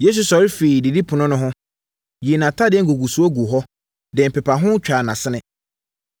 Yesu sɔre firii didipono no ho, yii nʼatadeɛ ngugusoɔ guu hɔ, de mpepaho twaa nʼasene.